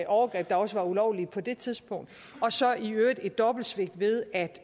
overgreb der også var ulovlige på det tidspunkt og så i øvrigt i et dobbeltsvigt ved at